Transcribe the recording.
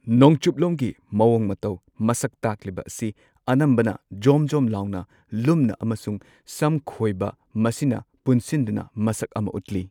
ꯅꯣꯡꯆꯨꯞꯂꯣꯝꯒꯤ ꯃꯑꯣꯡ ꯃꯇꯧ ꯃꯁꯛ ꯇꯥꯛꯂꯤꯕ ꯑꯁꯤ ꯑꯅꯝꯕꯅ ꯖꯣꯝ ꯖꯣꯝ ꯂꯨꯝꯅ ꯂꯨꯃꯅ ꯑꯃꯁꯨꯡ ꯁꯝ ꯈꯣꯏꯕ ꯃꯁꯤꯅ ꯄꯨꯟꯁꯤꯟꯗꯨꯅ ꯃꯁꯛ ꯑꯃ ꯎꯠꯂꯤ꯫